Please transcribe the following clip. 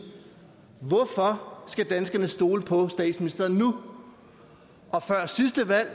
hvorfor skal danskerne stole på statsministeren nu før sidste valg